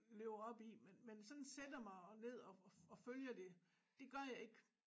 Lever op i men sådan sætter mig ned og og følger det det gør jeg ikke